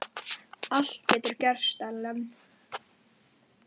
Allt getur gerst, Ellen.